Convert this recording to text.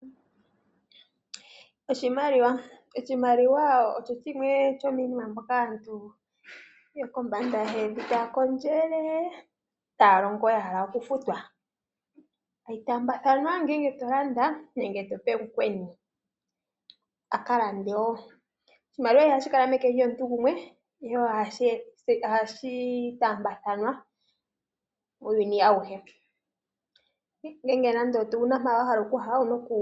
Oshimaliwa Oshimaliwa osho shimwe shomiinima mbyoka aantu yokombanda yevi taya kondjele taya longo ya hala oku futwa, hayi taambathanwa ngele to landa nenge tope mukweni a ka lande wo. Oshimaliwa ihashi kala meke lyomuntu gumwe ihe ohashi taambathanwa muuyuni awuhe.